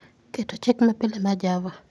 keto chik mapile mar java